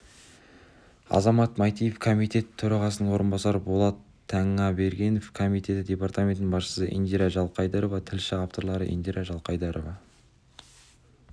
азамат майтиев комитет төрағасының орынбасары болат танабергенов комитеті департаментінің басшысы индира жылқайдарова тілші авторлары индира жылқайдарова